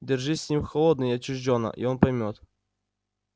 держись с ним холодно и отчуждённо и он поймёт